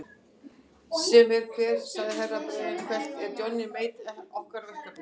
Sem eru hver sagði Herra Brian hvellt, er Johnny Mate okkar verkefni?